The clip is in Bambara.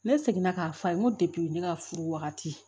Ne seginna k'a f'a ye n ko ne ka furu wagati